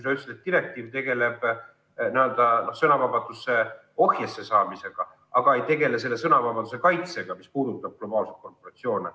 Sa ütlesid, et direktiiv tegeleb n-ö sõnavabaduse ohjesse saamisega, aga ei tegele selle sõnavabaduse kaitsega, mis puudutab globaalseid korporatsioone.